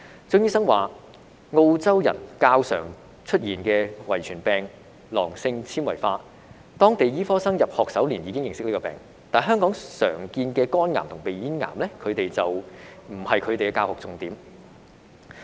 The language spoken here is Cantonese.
張醫生表示，澳洲人較常出現的遺傅病囊性纖維化，當地醫科生在入學首年已認識這個病，但香港常見的肝癌和鼻咽癌並不是他們的教學重點。